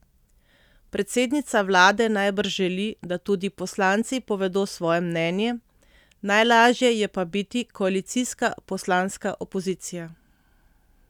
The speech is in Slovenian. Predsednica vlade najbrž želi, da tudi poslanci povedo svoje mnenje, najlažje je pa biti koalicijska poslanska opozicija.